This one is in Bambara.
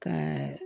Ka